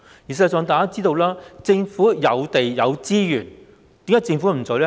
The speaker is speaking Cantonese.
事實上，大家知道政府有地、有資源，為何不做呢？